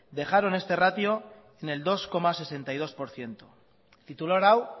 dejaron este ratio en el dos coma sesenta y dos por ciento titular hau